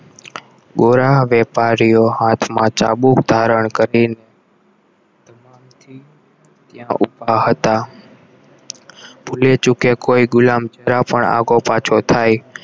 બોરા વેપારીઓ હાથમાં ચાબુક ધારણ કરી થી ત્યાં ઉભા હતા ભૂલેચૂકે કોઈ ગુલામ જરા પણ આઘોપાછો થા